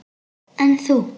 En þú?